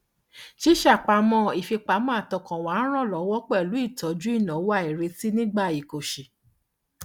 ṣíṣe àpamọ ìfipamọ àtọkànwá ń ràn lówọ pẹlú ìtọjú ináwó àìrètí nígbà ìkóṣí